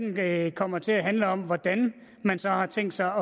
debatten kommer til at handle om hvordan man så har tænkt sig